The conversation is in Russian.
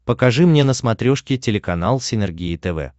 покажи мне на смотрешке телеканал синергия тв